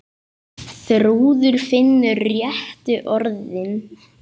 Þrúður finnur réttu orðin.